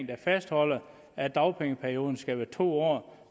der fastholder at dagpengeperioden skal være to år